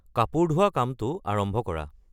কাপোৰ ধোৱা কামটো আৰম্ভ কৰা